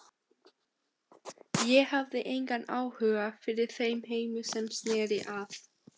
Ég hafði engan áhuga fyrir þeim heimi sem sneri að